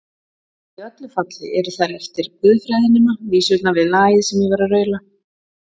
Í öllu falli eru þær eftir guðfræðinema vísurnar við lagið sem ég var að raula.